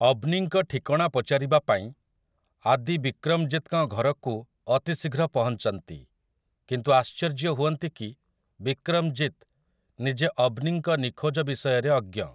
ଅବ୍ନୀଙ୍କ ଠିକଣା ପଚାରିବା ପାଇଁ ଆଦି ବିକ୍ରମ୍‌ଜିତ୍‌ଙ୍କ ଘରକୁ ଅତିଶୀଘ୍ର ପହଞ୍ଚନ୍ତି, କିନ୍ତୁ ଆଶ୍ଚର୍ଯ୍ୟ ହୁଅନ୍ତି କି ବିକ୍ରମ୍‌ଜିତ୍‌ ନିଜେ ଅବ୍ନୀଙ୍କ ନିଖୋଜ ବିଷୟରେ ଅଜ୍ଞ ।